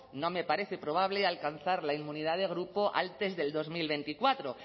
no me parece probable alcanzar la inmunidad de grupo antes del dos mil veinticuatro